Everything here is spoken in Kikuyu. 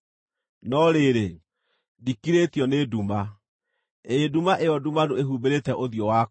No rĩrĩ, ndikirĩtio nĩ nduma, ĩĩ nduma ĩyo ndumanu ĩhumbĩrĩte ũthiũ wakwa.